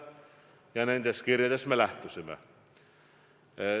Ja nendest kirjadest me lähtusime.